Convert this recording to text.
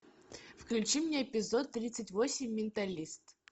включи мне эпизод тридцать восемь менталист